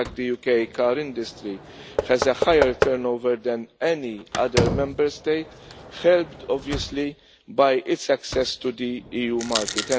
In fact, the UK car industry has a higher turnover than any other Member State, helped obviously by its access to the EU market.